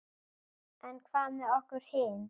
En hvað með okkur hin?